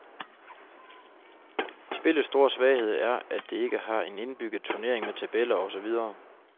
Spillets store svaghed er at det ikke har en indbygget turnering med tabeller og så videre.